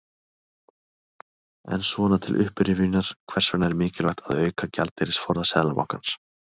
En svona til upprifjunar, hvers vegna er mikilvægt að auka gjaldeyrisforða Seðlabankans?